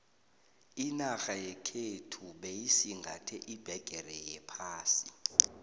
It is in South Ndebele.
inarha yekhethu beyisingathe iphegere yephasi